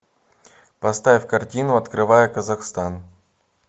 поставь картину открывая казахстан